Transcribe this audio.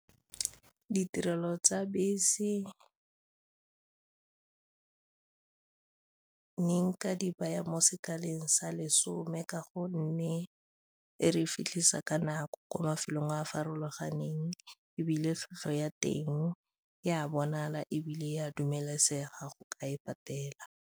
Ditirelo tsa bese ne nka di baya mo sekaleng sa lesome ka gonne re fitlhisa ka nako kwa mafelong a farologaneng ebile tlhwatlhwa ya teng e a bonala ebile e a dumelesega go ka e patela.